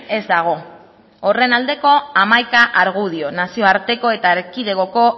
ez dago horren aldeko hamaika argudio nazioarteko eta erkidegoko